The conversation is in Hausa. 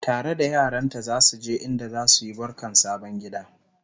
tare da yaranta zasu je inda zasuyi barkan sabon gida